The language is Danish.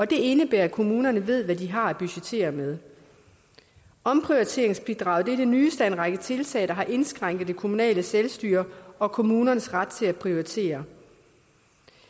det indebærer at kommunerne ved hvad de har at budgettere med omprioriteringsbidraget er det nyeste af en række tiltag der har indskrænket det kommunale selvstyre og kommunernes ret til at prioritere